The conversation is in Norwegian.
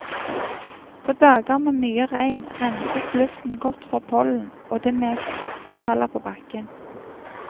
På dager med mye regn renses luften godt for pollen, og det meste faller på bakken.